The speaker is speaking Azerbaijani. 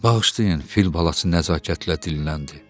Bağışlayın, fil balası nəzakətlə dilləndi.